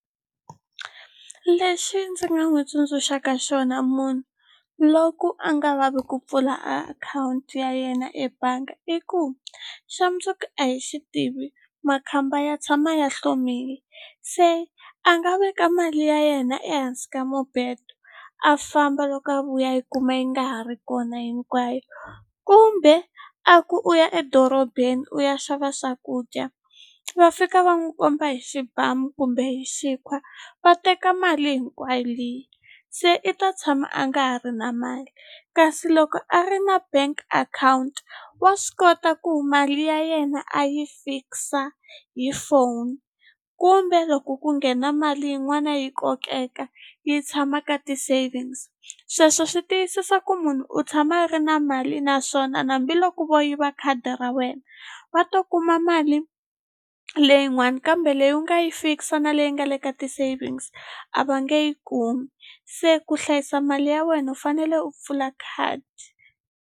Lexi ndzi nga n'wi tsundzuxaka xona munhu loko a nga lavi ku pfula akhawunti ya yena ebangi i ku xa mundzuku a hi xi tivi makhamba ya tshama ya hlomile se a nga veka mali ya yena ehansi ka mubedo a famba loko a vuya a yi kuma yi nga ha ri kona hinkwayo kumbe a ku u ya edorobeni u ya xava swakudya va fika va n'wi komba hi xibamu kumbe hi xikhwa va teka mali hinkwayo liya se i ta tshama a nga ha ri na mali kasi loko a ri na bank account wa swi kota ku mali ya yena a yi fix-a hi phone kumbe loko ku nghena mali yin'wana yi kokeka yi tshama ka ti-savings sweswo swi tiyisisa ku munhu u tshama a ri na mali naswona hambiloko vo yiva khadi ra wena va ta kuma mali leyin'wani kambe leyi u nga yi fix-a na leyi nga le ka ti-savings a va nge yi kumi se ku hlayisa mali ya wena u fanele u pfula khadi.